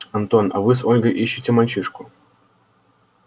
антон а вы с ольгой ищите мальчишку